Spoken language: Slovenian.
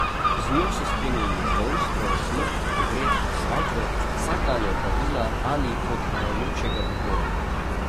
Z njo so spremljali rojstvo, smrt, pogreb, svatbo, vsakdanja opravila ali odhajajočega v boj.